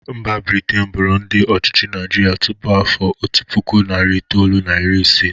Mba Britin bụrụ ndị ọchịchị Naịjịrị tupu afọ otu puku, nari itolu na iri isii.